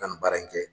Ka nin baara in kɛ